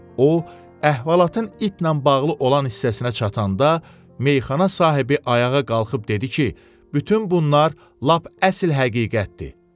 O, əhvalatın itlə bağlı olan hissəsinə çatanda, meyxana sahibi ayağa qalxıb dedi ki, bütün bunlar lap əsl həqiqətdir.